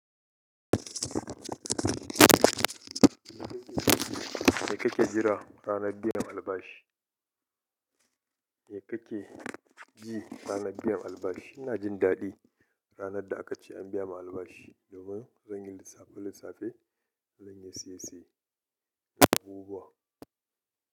Me kake jira ranar biyan albashi? Me ka ke ji ranan biyan albashi ina jin daɗi ranar da aka ce an biya mu albashi domin zan yi lissafin lissafi, zan iya siye wasu abubuwa.